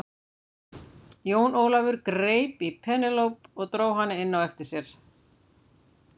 Jón Ólafur greip í Penélope og dró hana á eftir sér.